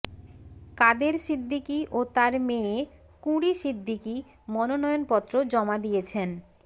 কাদের সিদ্দিকী ও তার মেয়ে কুঁড়ি সিদ্দিকী মনোনয়নপত্র জমা দিয়েছেন